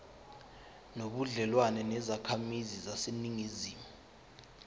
nobudlelwane nezakhamizi zaseningizimu